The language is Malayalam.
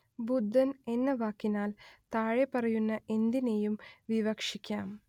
ബുദ്ധൻ എന്ന വാക്കിനാൽ താഴെപ്പറയുന്ന എന്തിനേയും വിവക്ഷിക്കാം